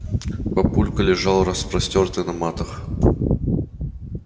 папулька лежал распростёртый на матах